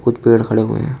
कुछ पेड़ खड़े हुए है।